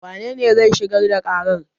Wanene zai shigar da ƙarar?